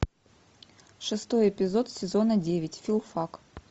шестой эпизод сезона девять филфак